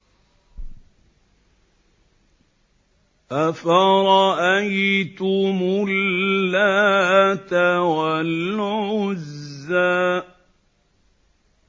أَفَرَأَيْتُمُ اللَّاتَ وَالْعُزَّىٰ